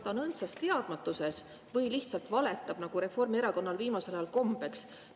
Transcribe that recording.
Ta on kas õndsas teadmatuses või lihtsalt valetab, nagu Reformierakonnal on viimasel ajal kombeks.